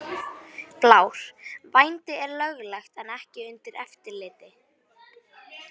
Blár: Vændi er löglegt en ekki undir eftirliti.